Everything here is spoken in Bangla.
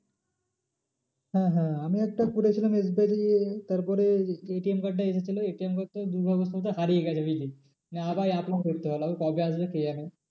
হ্যাঁ হ্যাঁ আমি একটা করেছিলাম SBI তে তারপরে ATM card এসেছিলো ATM card টা দুর্গাপুজোর সময়তে হারিয়ে গেছে বুঝলি। মানে আবার apply করতে হলো আবার কবে আসবে কে জানে।